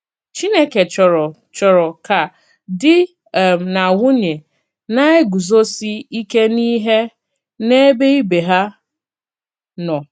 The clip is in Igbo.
Chínèkè chòrò chòrò ká dì um nà nwùnỳè na-egùzòsì íkè n’íhè n’èbè ìbè hà nọ̀.